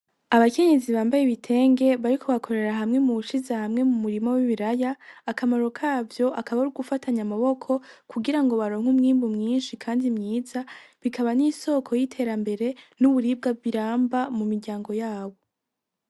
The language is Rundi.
Abakenyezi bambaye ibitenge bariko bakorera hamwe mubushize hamwe mu murima w'ibiraya akamaro kavyo akaba arugufatanya amaboko kugirango baronke umwimbu mwinshi kandi mwiza bikaba n'isoko y'iterambere N’uburibwa biramba mu miryango yabo.